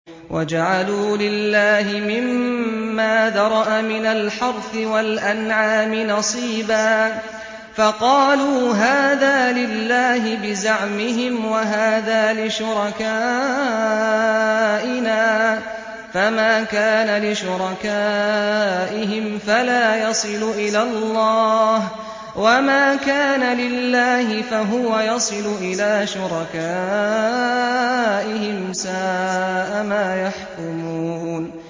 وَجَعَلُوا لِلَّهِ مِمَّا ذَرَأَ مِنَ الْحَرْثِ وَالْأَنْعَامِ نَصِيبًا فَقَالُوا هَٰذَا لِلَّهِ بِزَعْمِهِمْ وَهَٰذَا لِشُرَكَائِنَا ۖ فَمَا كَانَ لِشُرَكَائِهِمْ فَلَا يَصِلُ إِلَى اللَّهِ ۖ وَمَا كَانَ لِلَّهِ فَهُوَ يَصِلُ إِلَىٰ شُرَكَائِهِمْ ۗ سَاءَ مَا يَحْكُمُونَ